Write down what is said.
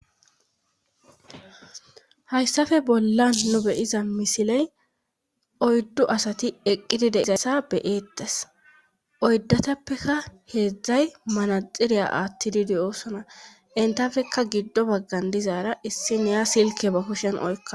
hayssafe bollan nu be'iza misiley oyddu asati eqqidi de'izassa be'eetes oydatappeka heedzdzay manaxiriya attididi de'osona entafekka giddo baggan dizaara issi neya silke ba kushen oykkadus